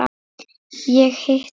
Ég hitti